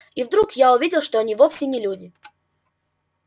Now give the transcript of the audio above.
и вдруг я увидел что они вовсе не люди